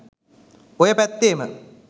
ඔය පැත්තෙම